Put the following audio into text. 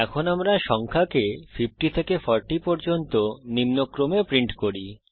এখন আমরা সংখ্যাকে 50 থেকে 40 পর্যন্ত নিম্নক্রমে প্রিন্ট করি